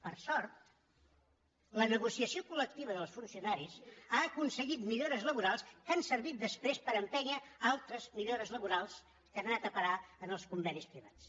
per sort la negociació col·lectiva dels funcionaris ha aconseguit millores laborals que han servit després per empènyer altres millores laborals que han anat a parar als convenis privats